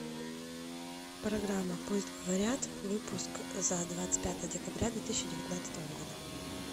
программа пусть говорят выпуск за двадцать пятое декабря две тысячи девятнадцатого года